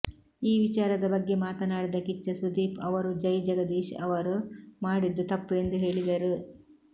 ಈ ವಿಚಾರದ ಬಗ್ಗೆ ಮಾತನಾಡಿದ ಕಿಚ್ಚ ಸುದೀಪ್ ಅವರು ಜೈ ಜಗದೀಶ್ ಅವರು ಮಾಡಿದ್ದು ತಪ್ಪು ಎಂದು ಹೇಳಿದರು